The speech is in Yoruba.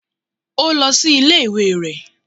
Ó lọ sí ilé ìwé rẹ̀.